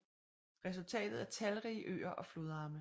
Resultatet er talrige øer og flodarme